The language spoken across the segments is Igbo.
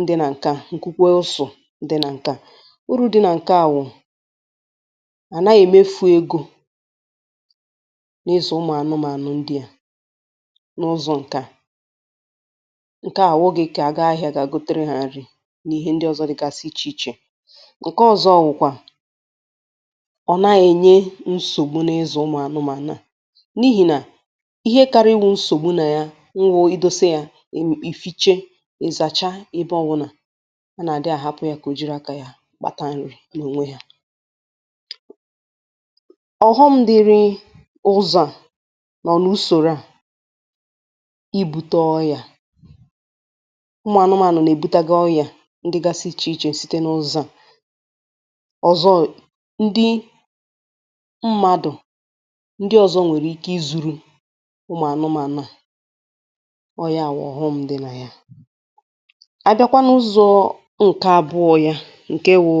ndị nà ǹkè a ma kwukwe a ụsọ̇, uru dị̇ nà ǹke à wụ̀ à naghi-èmefu egȯ n’ịzọ̀ ụmụ̀anụmànụ̀ ndị à n’ụzọ̀ ǹkè à, ǹke à wụgị̀ kà àga ahịȧ gà-àgàgotehè n’ihe ndị ọzọ̇ dị̇gasị ichè ichè ,ǹke ọ̀zọ wụ̀kwà ọ̀ na-ènye nsògbu n’ịzu ụmụ̀anụmànụ̀ à na n’ihì nà ihe karịa iwu̇ nsògbu nà ya nwụ idȯse yȧ ì fiche ịzàcha ebe ọwụ̀la anà ahapu ya ka o kpatarịrị n’ònwe yȧ, ọ̀họṁ dị̇rị ụzọ̀ nọ n’usòrò a,ibu̇te ọria, ụmụ̀ anụmànụ̀ nà-èbutaga ọria ndịgasị ichè ichè site n’ụzọ̇ à, ọ̀zọ ndị mmadụ̀ ndị ọ̇zọ̇ nwèrè ike izùrù ụmụ̀ anụmànụ̀ ndia ọ̀ ya bu ọ̀họṁ dị nà ya, abia n uzo nke abuo bu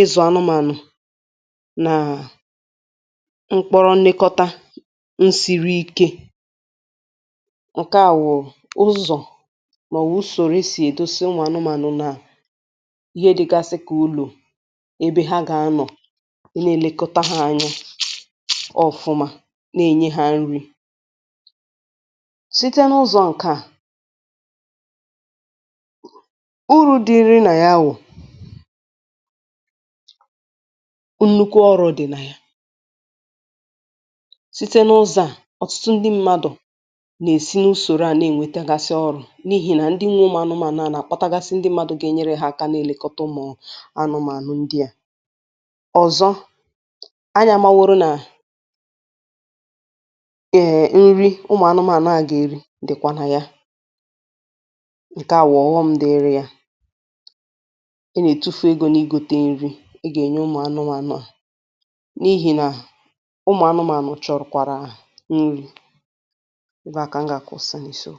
ịzu anụmànụ̀ nàà mkpọrọ nlekọta nsìri ike ǹke à wụ̀ ụzọ̀ màọwụ̀ usòrò e sì èdosinwà anụmànụ̀ nà ihe dịgasị kà ụlọ̀ ebe ha gà-anọ̀ i na-èlekọta hȧ anyị ọ̀fụma nà-enye hȧ nri site n’ụzọ̀ ǹkè a, urù dị nà yà wụ̀ nnukwu ọrụ̇ dị̀ nà yà site n’ụzọ̇ à, ọ̀tụtụ ndị mmadụ̀ nà-esi n’usòrò a nà-ènwétagasi ọrụ̇ n’ihì nà ndị nwụ ụmụ̀ anụmànụ ànà àkpọtagasi ndị mmadụ̇ gà-enyere hȧ aka n’èlekọta ụmụ̀ anụmànụ̀ ndị à,ọ̀zọ anyị amȧwụorụo nà èè nri ụmụ̀ anụmànụ̀ ànà gà-èri dị̇kwà nà ya ǹkè bu ọ̀ghọṁ dị na ya, a etufu ego na igote nri ėrė yà ị gà-ènye ụmụ̀ anụmànụ̀ à n’ihi nà ụmụ̀ anụmànụ̀ chọ̀rọ̀ kwàrà nri̇ ebe aka m gà-àkwusi. ụsọ̇ n’isiò